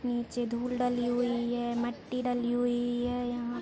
नीचे धूल डली हुई है मिट्टी डाली हुई है यहां--